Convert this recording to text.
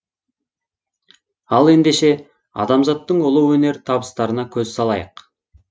ал ендеше адамзаттың ұлы өнер табыстарына көз салайық